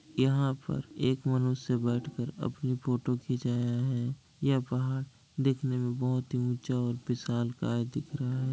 यहाँ पर एक मनुष्य बैठकर अपनी फोटो खींचाया है। यह पहाड़ देखने में बहुत ऊंचा और विशालकाय दिख रहा है।